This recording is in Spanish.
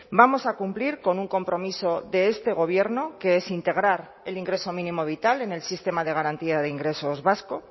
vamos a cumplir con un compromiso de este gobierno que es integrar el ingreso mínimo vital en el sistema de garantía de ingresos vasco